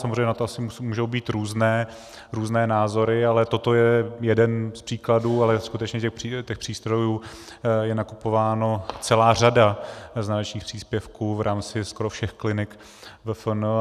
Samozřejmě na to asi můžou být různé názory, ale toto je jeden z příkladů, ale skutečně těch přístrojů je nakupována celá řada z nadačních příspěvků v rámci skoro všech klinik VFN.